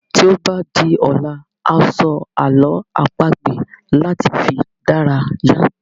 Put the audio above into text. Tí o ba di ọ̀la a sọ àlọ́ àpagbè láti fi dárayá